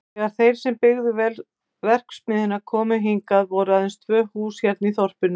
Þegar þeir sem byggðu verksmiðjuna komu hingað voru aðeins tvö hús hérna í þorpinu.